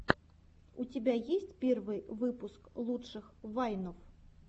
у тебя есть первый выпуск лучших вайнов